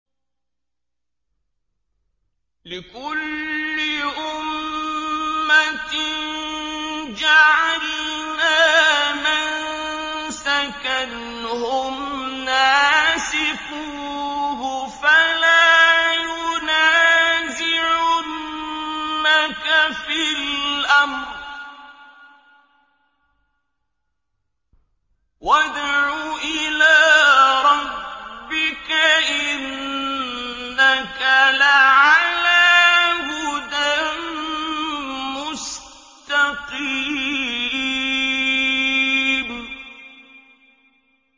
لِّكُلِّ أُمَّةٍ جَعَلْنَا مَنسَكًا هُمْ نَاسِكُوهُ ۖ فَلَا يُنَازِعُنَّكَ فِي الْأَمْرِ ۚ وَادْعُ إِلَىٰ رَبِّكَ ۖ إِنَّكَ لَعَلَىٰ هُدًى مُّسْتَقِيمٍ